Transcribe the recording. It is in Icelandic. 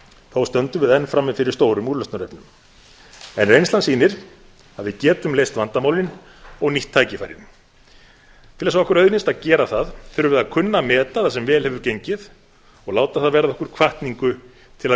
þó stöndum við enn frammi fyrir stórum úrlausnarefnum en reynslan sýnir að við getum leyst vandamálin og nýtt tækifærin til þess að okkur auðnist að gera það þurfum við að kunna að meta sem vel hefur gengið og láta það verða okkur hvatningu til að